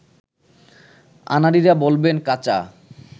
আনাড়িরা বলবেন, কাঁচা